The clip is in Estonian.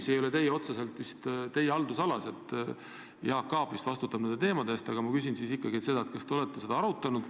See küll ei ole otseselt vist teie haldusalas, Jaak Aab vist vastutab nende teemade eest, aga ma küsin ikkagi, kas te olete seda arutanud.